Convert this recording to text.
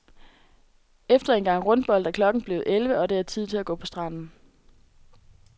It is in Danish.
Efter en gang rundbold er klokken blevet elleve, og det er tid til at gå på stranden.